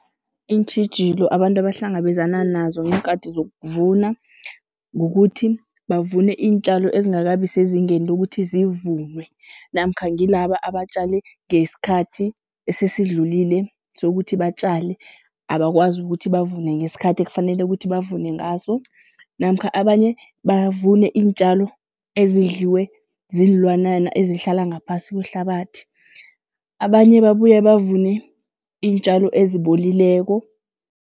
Iintjhijilo abantu abahlangabezana nazo ngeenkati zokuvuna. Kukuthi bavune iintjalo ezingakabi sezingeni lokuthi zivunwe namkha ngilaba abatjale ngesikhathi esesidlulile sokuthi batjale. Abakwazi ukuthi bavune ngesikhathi ekufanele ukuthi bavune ngaso namkha abanye bavune iintjalo ezidliwe ziinlwanyana ezihlala ngaphasi kwehlabathi. Abanye babuye bavune iintjalo ezibolileko.